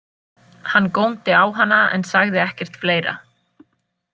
Hann góndi á hana en sagði ekkert fleira.